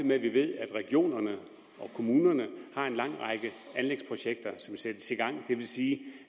ved vi at regionerne og kommunerne har en lang række anlægsprojekter som sættes i gang det vil sige